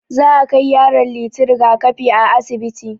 Za akai yaron Liti rigakafi a asibiti.